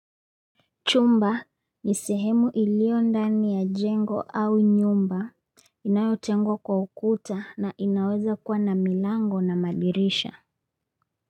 Chumba ni sehemu iliyo ndani ya jengo au nyumba inayotengwa kwa ukuta na inaweza kuwa na milango na madirisha.